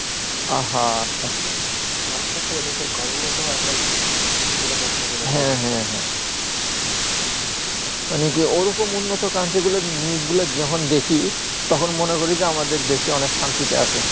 মানুষের শুধু নিজে ঘরের মধ্যে এখন নিরাপত্তাহীনতা হ্যাঁ হ্যাঁ হ্যাঁ মানে কি ঐরকম উন্নত country গুলু তে news গুলু যখন দেখি তখন মনে করি যে আমাদের দেশে অনেক শান্তিতে আছে